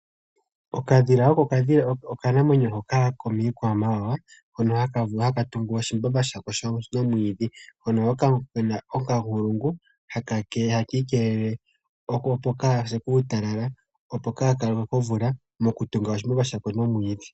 Okadhila oko okanamwenyo hoka komiikwamawawa hono haka tungu oshimbamba shako shomwiidhi, hono haka ningi okamukwena nuunkulungu hakiikelele opo kakase uutala opo kaka lokwe komvula moku tunga oshimbamba shako shomwiidhi..